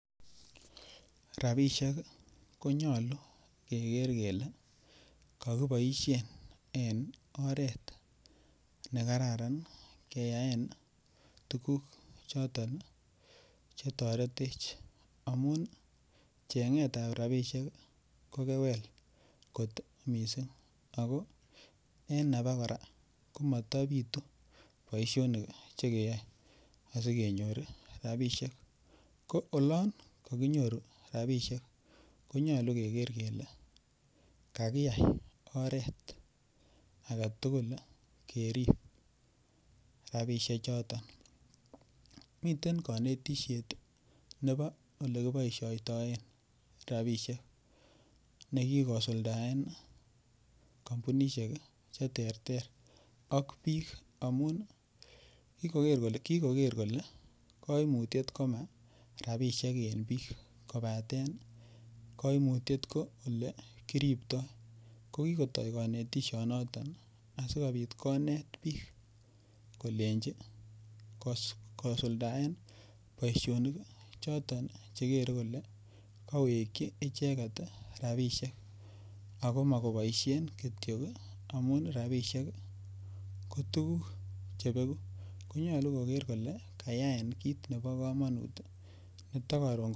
Ropisiek konyolu keker kele kakiboishe eng oret ne kararan keyaen tukuk chotok chetoretech amun cheng'et ap ropisiek ko kewel kot mising ako eng akapa kora matapitu boishonik chekeyoe asikenyoe ropishek ko olon kakonyoru rapishek konyolu kekerer kele kakiyai oret ake tugul kerip rapishe choton miten kanetishet nebo olekiboishoitoen rapishek nekikosuldaen kampunishek che ter ter ak biik amun kikoker kole kaimutiet koma rapishek eng biik kobaten koimutiet ko ole kiriptoi ko kikotoi konetishonoton asikobit konet biik kolenjin kosuldaen boishonik choton chekere kole kawekchi icheket rapishek ako ma koboishe kitio amu ropishek ko tukuk chebeku konyolu koker kole kayaen kiit nebo komonut nitok.